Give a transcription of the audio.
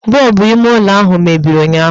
Bọbụ ime ụlọ ahụ mebiri ụnyụahụ